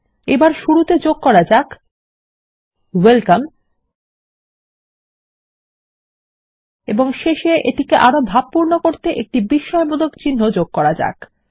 এবার শুরুতে যোগ করা যাক ওয়েলকাম এবং শেষে এটিকে আরো ভাবপূর্ণ করতে একটি বিস্ময়বোধক চিন্হ যোগ করা যাক